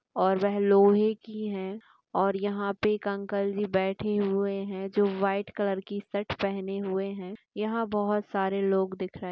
और वे लोहे की है और यहाँ पे एक अंकल जी बैठे हुए है जो वाइट कलर की शर्ट पहने हुये है यहाँ बहुत सारे लोग दिख रहे--